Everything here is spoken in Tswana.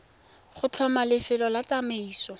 go tlhoma lefelo la tsamaiso